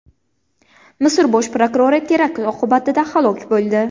Misr bosh prokurori terakt oqibatida halok bo‘ldi.